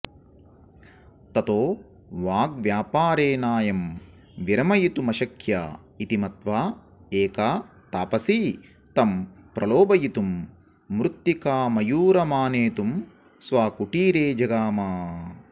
ततो वाग्व्यापारेणायं विरमयितुमशक्य इति मत्वा एका तापसी तं प्रलोभयितुं मृत्तिकामयूरमानेतुं स्वकुटीरे जगाम